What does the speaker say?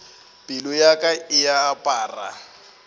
pelo ya ka e apara